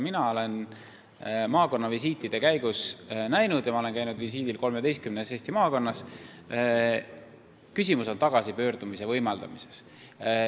Mina olen maakonnavisiitide käigus näinud – ma olen käinud visiidil 13 maakonnas –, et küsimus on tagasipöördumise võimaldamises.